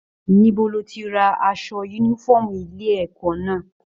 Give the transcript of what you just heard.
Níbo lo tí rà aṣọ yúnífọ̀ọ́mù ilé ẹ̀kọ́ náà?